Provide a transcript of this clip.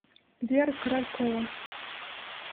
вера королькова